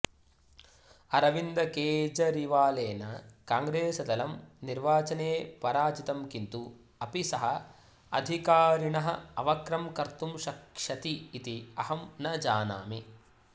अरविन्दकेजरिवालेन कॉग्रेसदलं निर्वाचने पराजितं किन्तु अपि सः अधिकारिणः अवक्रं कर्तुं शक्ष्यति इति अहं न जानामि